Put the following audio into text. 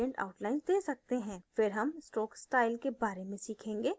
फिर हम stroke style के बारे में सीखेंगे इस पर click करें